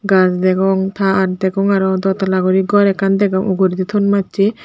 gach degong tar degong aro dotala guri gor ekkan degong uguredi ton mache.